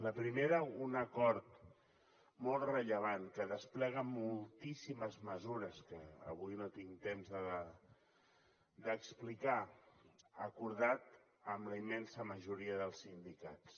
la primera un acord molt rellevant que desplega moltíssimes mesures que avui no tinc temps d’explicar acordat amb la immensa majoria dels sindicats